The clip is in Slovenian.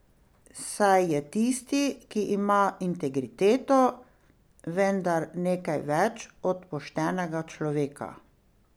Saj je tisti, ki ima integriteto, vendar nekaj več od poštenega človeka!